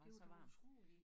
Det var dog utroligt